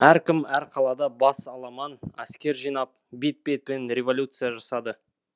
әркім әр қалада бас аламан әскер жинап бет бетімен революция жасады